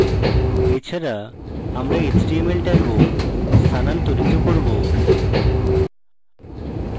এছাড়া আমরা html tags স্থানান্তরিত করব